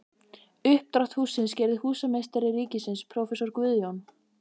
Uppdrátt hússins gerði húsameistari ríkisins prófessor Guðjón